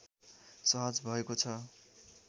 सहज भएको छ